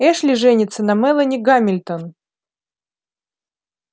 эшли женится на мелани гамильтон